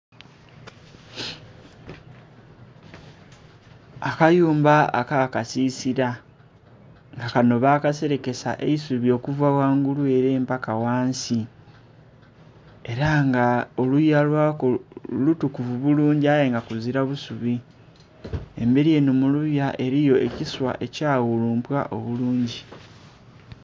Akayumba aka kasisila nga kanho bakiserekesa eisubi okuva ghangulu ere mpaka ghansi era nga oluya lwako lutukuvu bulungi aye nga kuzila busubi emberi enho muluya eriyo ekisa ekya ghulumpwa obulungi.